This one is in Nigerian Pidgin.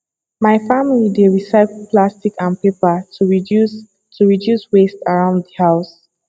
my family dey recycle plastic and paper to reduce to reduce waste around the house